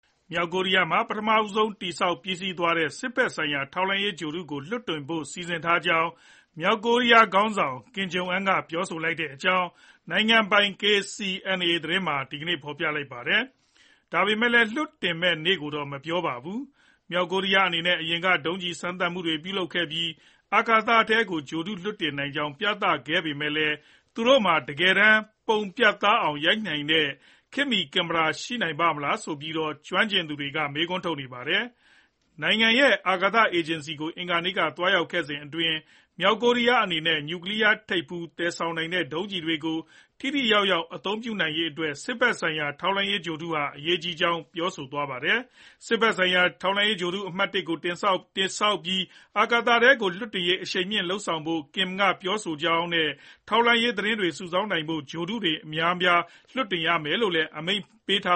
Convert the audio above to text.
မြောက်ကိုရီးယားမှာ ပထမဆုံးတည်ဆောက် ပြီးစီးသွားတဲ့ စစ်ဘက်ဆိုင်ရာ ထောက်လှမ်းရေး ဂြိုလ်တုကို လွှတ်တင်ဖို့ စီစဉ်ထားကြောင်း မြောက်ကိုရီးယားခေါင်းဆောင် Kim Jong Un က ပြောဆိုလိုက်ကြောင်း နိုင်ငံပိုင် KCNA သတင်းမှာ ဒီကနေ့ပဲ ဖော်ပြလိုက်ပါတယ်။ ဒါပေမဲ့လည်း လွှတ်တင်မယ့်နေ့ကိုတော့ မပြောပါဘူး။ မြောက်ကိုရီးယားအနေနဲ့ အရင်က ဒုံးကျည်စမ်းသပ်မှုတွေ ပြုလုပ်ခဲ့ပြီး အာကာသထဲကို ဂြိုဟ်တုလွှတ်တင်နိုင်ကြောင်း ပြသခဲ့ပေမယ့်လည်း သူတို့မှာ တကယ်တမ်း ပုံပြတ်သားအောင်ရိုက်နိုင်တဲ့ ခေတ်မီကင်မရာရှိနိုင်ပါ့မလား ဆိုပြီးတော့ ကျွမ်းကျင်သူတွေက မေးခွန်းထုတ်နေကြပါတယ်။ နိုင်ငံရဲ့ အာကာသအေဂျင်စီဌာနကို အင်္ဂါနေ့က သွားရောက်ခဲ့စဉ်အတွင်း မြောက်ကိုရီးယားအနေနဲ့ နျူကလီးယားထိပ်ဖူး သယ်ဆောင်နိုင်တဲ့ ဒုံးကျည်တွေကို ထိထိရောက်ရောက် အသုံးပြုရေးအတွက် စစ်ဘက်ဆိုင်ရာ ထောက်လှမ်းရေး ဂြိုဟ်တုဟာ အရေးကြီးကြောင်း ပြောပါတယ်။ စစ်ဘက်ဆိုင်ရာ ထောက်လှမ်းရေးဂြိုဟ်တု အမှတ် ၁ ကို တည်ဆောက်ပြီး အာကာသထဲကို လွှတ်တင်ရေးကို အရှိန်မြှင့်လုပ်ဆောင်ဖို့ Kim က ပြောဆိုကြောင်း နဲ့ ထောက်လှမ်းရေးသတင်းတွေ စုဆောင်နိုင်ဖို့အတွက် ထောက်လှမ်းရေးဂြိုဟ်တုတွေ အများအပြား လွှတ်တင်ရမယ်လို့လည်း သူက အမိန့်ပေးထာ